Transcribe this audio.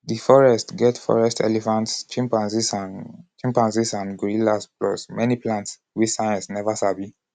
di forests get forest elephants chimpanzees and chimpanzees and gorillas plus many plants wey science neva sabi.